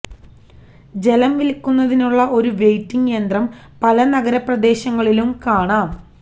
ജലം വിൽക്കുന്നതിനുള്ള ഒരു വെയിറ്റിംഗ് യന്ത്രം പല നഗര പ്രദേശങ്ങളിലും കാണാം